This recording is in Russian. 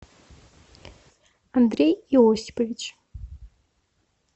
андрей иосипович